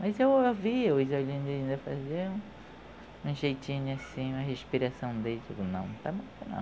Mas eu ouvia os olhinhos deles ainda fazer, um jeitinho assim, uma respiração dele, eu digo, não, tá bom ainda